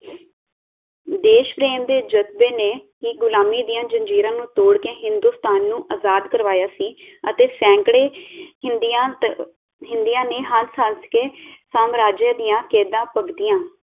ਦੇਸ਼ਪਰੇਮ ਦੇ ਜਜਬੇ ਨੇ ਹੀ ਗ਼ੁਲਾਮੀ ਦੀਆਂ ਜੰਜੀਰਾਂ ਨੂੰ ਤੋੜ ਕੇ ਹਿੰਦੁਸਤਾਨ ਨੂੰ ਆਜ਼ਾਦ ਕਰਵਾਇਆ ਸੀ ਅਤੇ ਸੈਂਕੜੇ ਹਿੰਦੀਆਂ ਤੇ ਹਿੰਦੀਆਂ ਨੇ ਹੱਸ ਹੱਸ ਕੇ ਸਮਰਾਜਯ ਦੀਆਂ ਕੈਦਾਂ ਭੁਗਤੀਆਂ